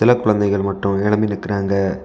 சில குழந்தைகள் மட்டும் எழும்பி நிக்குறாங்க.